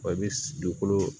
Wa i bɛ dugukolo